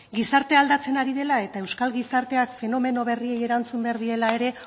gizartea aldatzen ari dela eta euskal gizarteak fenomeno berriei erantzun behar diela ere